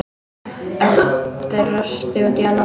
Örn brosti út í annað.